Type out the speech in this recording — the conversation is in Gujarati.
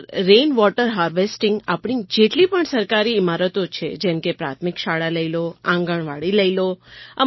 સર રેઇનવૉટર હાર્વેસ્ટિંગ આપણી જેટલી પણ સરકારી ઇમારતો છે જેમ કે પ્રાથમિક શાળા લઈ લો આંગણવાડી લઈ લો